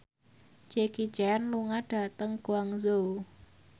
Jackie Chan lunga dhateng Guangzhou